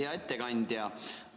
Hea ettekandja!